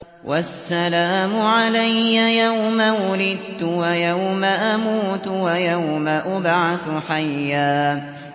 وَالسَّلَامُ عَلَيَّ يَوْمَ وُلِدتُّ وَيَوْمَ أَمُوتُ وَيَوْمَ أُبْعَثُ حَيًّا